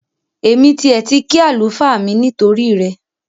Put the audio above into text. Èmi tiẹ̀ ti kí àlùfáà mi nítorí rẹ